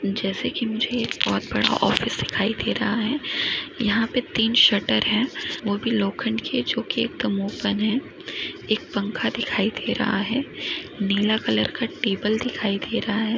जैसे की मुझे एक बहुत बड़ा ऑफिस दिखाई दे रहा है यहा पर तीन शटर है वो भी लोखंड के है जो की एक दम ओपन है एक पंखा दिखाई दे रहा है नीला कलर की टेबल दिखाई दे रहा है।